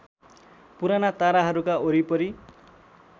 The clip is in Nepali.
पुराना ताराहरूका वरिपरि